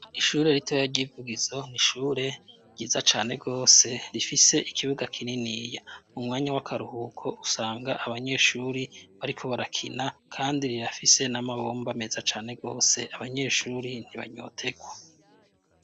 Ishure ritoya ry'i Vugizo n'ishure ryiza cane rwose rifise ikibuga kininiya. Mu mwanya w'akaruhuko usanga abanyeshuri bariko barakina kandi rirafise n'amabomba meza cane rwose abanyeshuri ntibanyotegwa.